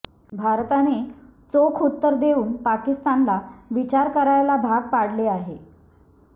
भारताने चोख उत्तर देऊन पाकिस्तानला विचार करायला भाग पाडले आहे